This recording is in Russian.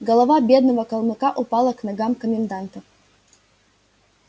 голова бедного калмыка упала к ногам коменданта